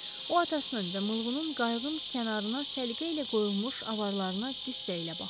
O atasının və Mılğının qayığın kənarına səliqə ilə qoyulmuş avarlarına qüssə ilə baxdı.